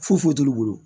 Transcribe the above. Foyi foyi t'olu bolo